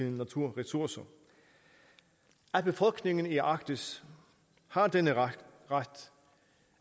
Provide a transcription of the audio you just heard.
naturressourcer at befolkningen i arktis har denne ret